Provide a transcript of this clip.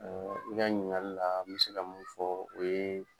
i ka ɲininkali la me se ka min fɔ o ye.